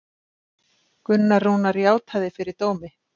Gunnar Rúnar játaði fyrir dómi